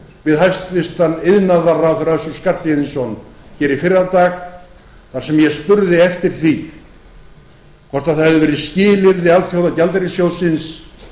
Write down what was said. við hæstvirtur iðnaðarráðherra össur skarphéðinsson hér í fyrradag þar sem ég spurði eftir því hvort það hefði verið skilyrði alþjóðagjaldeyrissjóðsins